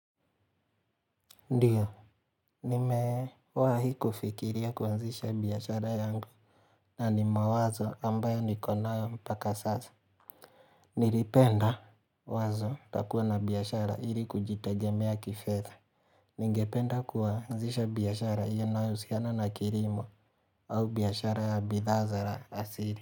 Ndio, nimewahi kufikiria kuanzisha biashara yangu na ni mawazo ambayo nikonayo mpaka sasa Nilipenda wazo ya kuwa na biashara ili kujitegemea kifedha Ningependa kuanzisha biashara inayohusiana na kilimo au biashara ya bidha za asili.